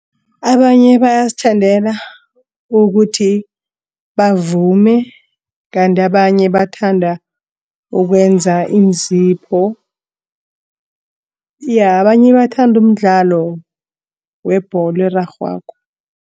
Abanye bayazithandela ukuthi bavume. Kanti abanye bathanda ukwenza iinzipho ya abanye bathanda umdlalo webholo erarhwako.